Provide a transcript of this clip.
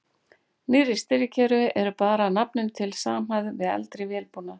Nýrri stýrikerfi eru bara að nafninu til samhæfð við eldri vélbúnað.